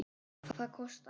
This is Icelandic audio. Hvað kostaði hann?